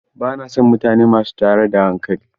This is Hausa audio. Ba na son mutane masu tayar da hankali.